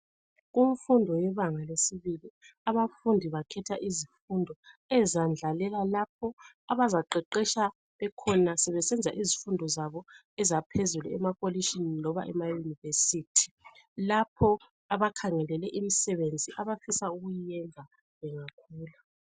Kumfundo yebanga lesibili abafundi bakhetha izifundo ezandlalela lapho abazaqeqetsha bekhona sebesenza izifundo zabo ezaphezulu emakolitshini loba ema university lapho abakhangelele imisebenzi abafisa ukuyenza bengakhula.